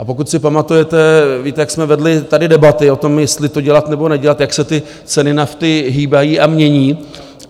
A pokud si pamatujete, víte, jak jsme vedli tady debaty o tom, jestli to dělat nebo nedělat, jak se ty ceny nafty hýbají a mění?